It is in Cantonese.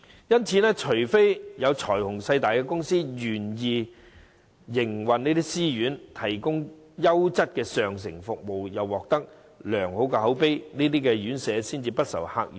因此，除非有財雄勢大的公司願意營運私營院舍，提供優質上乘的服務，贏取良好口碑，這些院舍才會不愁客源。